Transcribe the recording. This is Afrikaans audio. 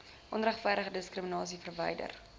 onregverdige diskriminasie verwyder